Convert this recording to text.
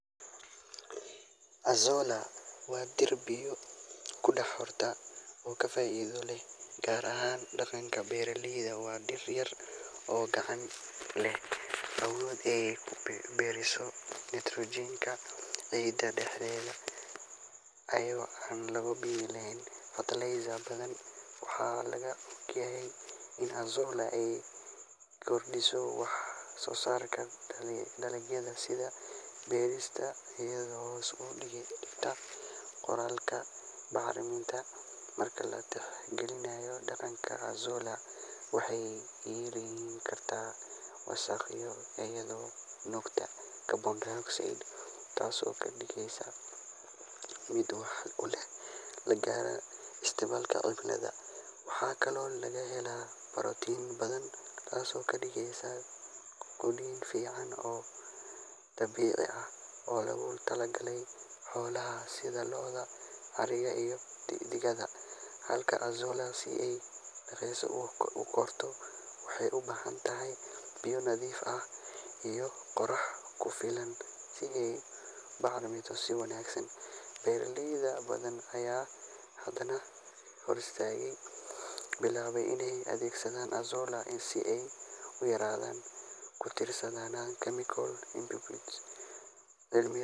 Azolla waa dhir biyo ku korta oo aad faa'iido u leh, gaar ahaan dhanka beeralayda. Waa dhir yar oo cagaaran, lehna awood ay ku horumariso nitrogen-ka ciidda dhexdeeda iyadoo aan loo baahnayn fertilizer badan. Waxaa la og yahay in azolla ay kordhiso wax-soosaarka dalagyada sida bariiska, iyadoo hoos u dhigta kharashaadka bacriminta. Marka la tixgeliyo deegaanka, azolla waxay yareyn kartaa wasakhowga iyadoo nuugta carbon dioxide, taasoo ka dhigaysa mid waxtar u leh la dagaalanka isbedelka cimilada. Waxaa kaloo laga helaa borotiin badan, taasoo ka dhigaysa quudin fiican oo dabiici ah oo loogu talagalay xoolaha sida lo’da, ariga iyo digaagga. Halka azolla ay si dhakhso ah u korto, waxay u baahan tahay biyo nadiif ah iyo qorrax ku filan si ay u kobocdo si wanaagsan. Beeralay badan ayaa hadda bilaabay inay adeegsadaan azolla si ay u yareeyaan ku tiirsanaanta chemical inputs. Cilmi-